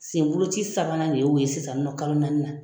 Senboloci sabanan de y'o ye sisan nin nɔ kalo naani na